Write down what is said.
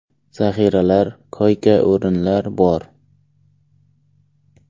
Zaxiralar, koyka-o‘rinlar bor.